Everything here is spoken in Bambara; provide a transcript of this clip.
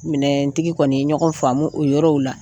Minɛntigi kɔni ye ɲɔgɔn faamumu o yɔrɔw la